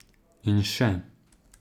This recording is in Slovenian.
In še.